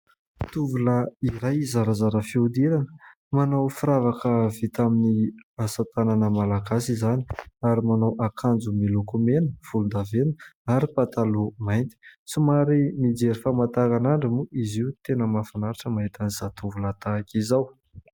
Tovolahy iray zarazara fihodirana manao firavaka vita amin'ny asa tanana Malagasy izany ary manao akanjo miloko mena , volondavenina ary pataloha mainty ; somary mijery famataranandro moa izy io . Tena mahafinaritra ny mahita ny zatovolahy tahaka izao .